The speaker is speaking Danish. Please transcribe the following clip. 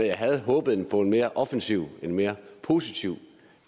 jeg havde håbet på en mere offensiv en mere positiv